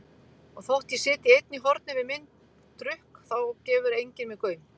Og þótt ég sitji einn í horni við minn drukk þá gefur enginn mér gaum.